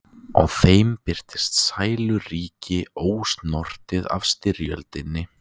Á þeim birtist sæluríki, ósnortið af styrjöldinni.